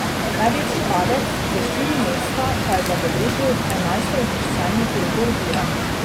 Največji padec, za štiri mesta, pa je zabeležil enajstouvrščeni Gregor Virant.